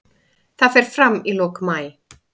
Það fer fram í lok maí.